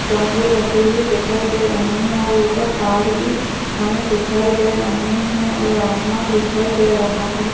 गमले रखे हुए दिखाई दे रहे है और उपर तार भी हमें दिखाई दे रहे है और आसमान दिखाए दे रहा है।